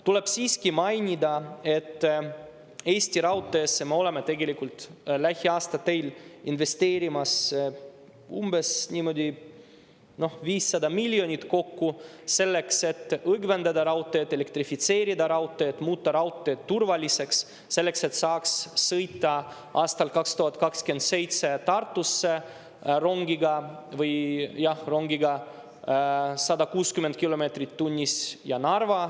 Tuleb siiski mainida, et Eesti Raudteesse me oleme lähiaastatel investeerimas kokku umbes 500 miljonit eurot, selleks et raudteed õgvendada, elektrifitseerida raudtee, et muuta raudtee turvaliseks, selleks et saaks sõita aastal 2027 Tartusse ja Narva rongiga 160 kilomeetrit tunnis.